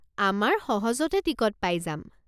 আমাৰ সহজতে টিকট পাই যাম।